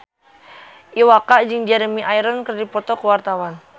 Iwa K jeung Jeremy Irons keur dipoto ku wartawan